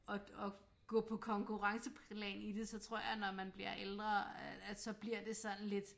At at gå på konkurrenceplan i det så tror jeg når man bliver ældre at så bliver det sådan lidt